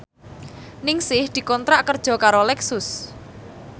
Ningsih dikontrak kerja karo Lexus